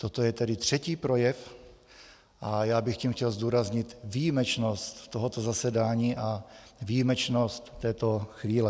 Toto je tedy třetí projev a já bych tím chtěl zdůraznit výjimečnost tohoto zasedání a výjimečnost této chvíle.